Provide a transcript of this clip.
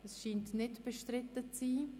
– Es scheint nicht bestritten zu sein.